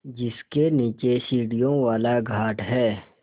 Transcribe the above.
जिसके नीचे सीढ़ियों वाला घाट है